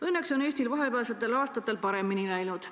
Õnneks on Eestil vahepealsetel aastatel paremini läinud.